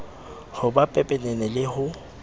ho ba pepenene le ho